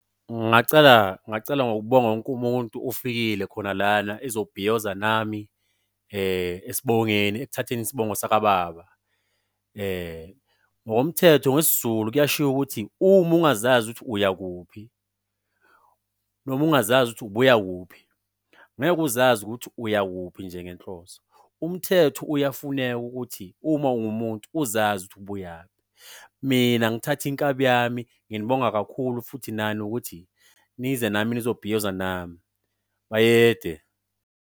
Ngingacala ngokubonga wonke umuntu ofikile khona lana, ezobhiyoza nami esibongeni, ekuthatheni isibongo saka-baba. Ngokomthetho ngesiZulu kuyashiwo ukuthi uma ungazazi ukuthi uyakuphi noma ungazazi ukuthi ubuyakuphi ngeke uzazi ukuthi uyakuphi nje ngenhloso. Umthetho uyafuneka ukuthi uma ungumuntu uzazi ukuthi ubuyaphi. Mina ngithatha inkabi yami, nginibonga kakhulu futhi nani ukuthi nize nami nizobhiyoza nami. Bayede!